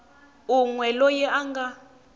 un we loyi a nga